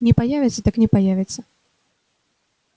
не появится так не появится